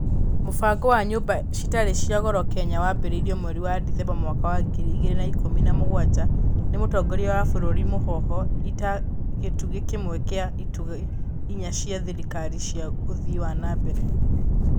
Mũbango wa nyũmba citarĩ cia goro Kenya wambĩrĩirio mweri wa Dithemba mwaka wa ngiri igĩrĩ na ikũmi na mũgwanja nĩ mũtongoria wa bũrũri Mũhoho ĩta gĩtugi kĩmwe kĩa itugĩ inya cia thirikari cia ũthii wa nambere.